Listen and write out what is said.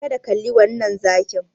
Kada ka kalli wannan zakin.